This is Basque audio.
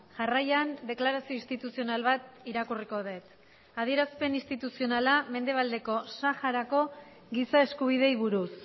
jarraian deklarazio instituzional bat irakurriko dut adierazpen instituzionala mendebaldeko saharako giza eskubideei buruz